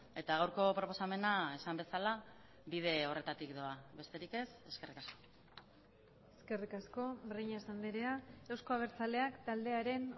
eta gaurko proposamena esan bezala bide horretatik doa besterik ez eskerrik asko eskerrik asko breñas andrea euzko abertzaleak taldearen